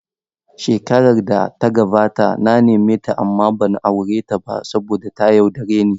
Shekarar da ta gabata na nemeta amma ban aure ta ba saboda ta yaudare ni.